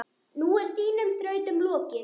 Nú er þínum þrautum lokið.